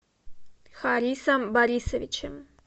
харисом борисовичем